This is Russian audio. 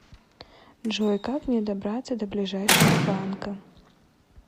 джой как мне добраться до ближайшего банка